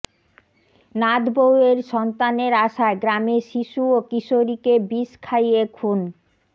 নাতবউয়ের সন্তানের আশায় গ্রামের শিশু ও কিশোরীকে বিষ খাইয়ে খুন